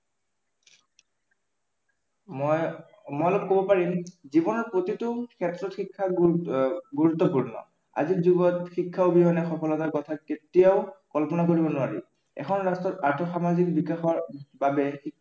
মই, মই কব পাৰিম, জীৱনত প্ৰতিটো ক্ষেত্ৰত শিক্ষা গুৰুত্বপূৰ্ণ। আজিৰ যুগত শিক্ষা অবিহনে সফলতাৰ কথা কেতিয়াও কল্পনা কৰিব নোৱাৰি। এখন ৰাষ্ট্ৰৰ আৰ্থ-সামাজিক বিকাশৰ বাবে